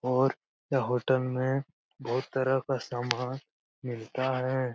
और यह होटल में बहुत तरह का सामान मिलता है।